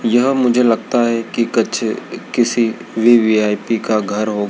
यह मुझे लगता है कि किसी वी_वी_ई_पी का घर हो--